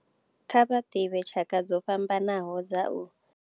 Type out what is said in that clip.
Kha vha ḓivhe tshaka dzo fhambanaho dza u.